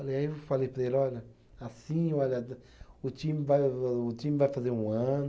Falei aí eu falei para ele, olha, assim, olha, da o time vai, o time vai fazer um ano.